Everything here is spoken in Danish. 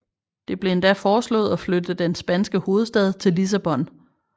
Det blev endda foreslået at flytte den spanske hovedstad til Lissabon